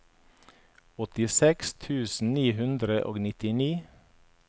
åttiseks tusen ni hundre og nittini